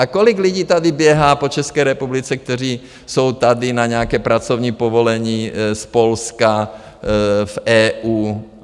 A kolik lidí tady běhá po České republice, kteří jsou tady na nějaké pracovní povolení, z Polska, z EU.